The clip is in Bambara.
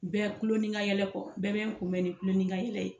Bɛɛ kulon ni ka yɛlɛ kɔ, bɛɛ bɛ n kunbɛn ni tulon ni ka yɛlɛ ye.